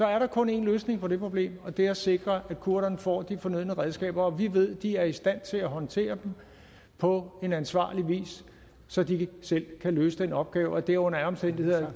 er der kun én løsning på det problem og det er at sikre at kurderne får de fornødne redskaber og vi ved de er i stand til at håndtere dem på en ansvarlig vis så de selv kan løse den opgave det er under alle omstændigheder ja